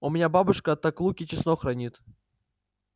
у меня бабушка так лук и чеснок хранит